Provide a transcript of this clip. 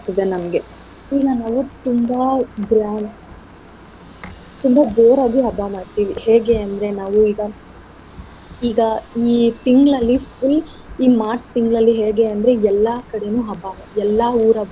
ಇದೆ ನಮ್ಗೆ ಈಗ ನೀವು ತುಂಬಾ grand ತುಂಬಾ ಜೋರಾಗಿ ಹಬ್ಬ ಮಾಡ್ತಿವಿ ಹೇಗೆ ಅಂದ್ರೆ ನಾವು ಈಗ ಈಗ ಈ ತಿಂಗ್ಳಲ್ಲಿ full ಈ March ತಿಂಗ್ಳಲ್ಲಿ ಹೇಗೆ ಅಂದ್ರೆ ಎಲ್ಲಾ ಕಡೆನು ಹಬ್ಬ ಎಲ್ಲಾ ಊರ ಹಬ್ಬನು.